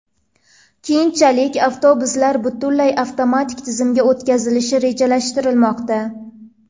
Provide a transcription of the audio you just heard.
Keyinchalik avtobuslar butunlay avtomatik tizimga o‘tkazilishi rejalashtirilmoqda.